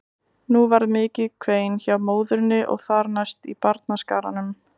Nú varð mikið kvein hjá móðurinni og þar næst í barnaskaranum.